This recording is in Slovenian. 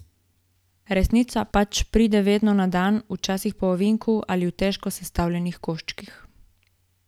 Resnica pač pride vedno na dan, včasih po ovinku ali v težko sestavljivih koščkih.